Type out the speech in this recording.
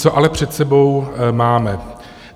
Co ale před sebou máme?